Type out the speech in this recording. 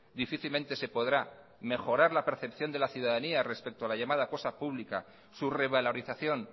difícilmente se podrá mejorar la percepción de la ciudadanía respeto a la llamada cosa pública su revalorización